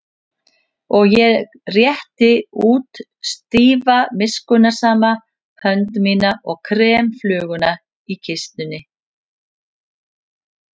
Og ég rétti út stífa miskunnsama hönd mína og krem fluguna í kistunni.